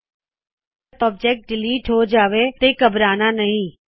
ਅਗਰ ਗਲਤ object delete ਹੋ ਜਾਵੇ ਤੇ ਘਬਰਾਓਣ ਦੀ ਲੋੜ ਨਹੀ